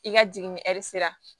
I ka jiginni ɛri sera